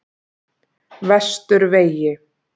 Vesturvegi